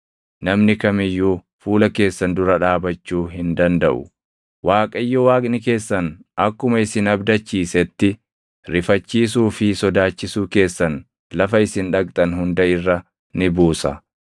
Namni kam iyyuu fuula keessan dura dhaabachuu hin dandaʼu. Waaqayyo Waaqni keessan akkuma isin abdachiisetti rifachiisuu fi sodaachisuu keessan lafa isin dhaqxan hunda irra ni buusa.